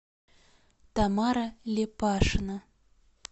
тамара лепашина